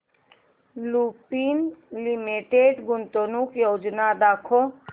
Lupin limited गुंतवणूक योजना दाखव